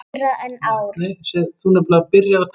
Meira en ár.